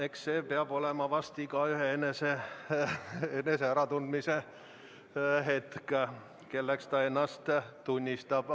Eks see peab olema igaühe enese äratundmishetk, kelleks ta ennast tunnistab.